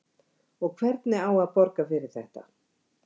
Og hvernig á að borga fyrir þetta?